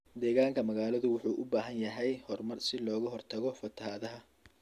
Deegaanka magaaladu wuxuu u baahan yahay horumar si looga hortago fatahaadda.